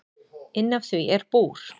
Inn af því er búr.